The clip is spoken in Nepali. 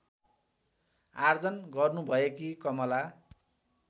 आर्जन गर्नुभएकी कमला